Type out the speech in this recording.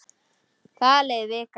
Það leið vika.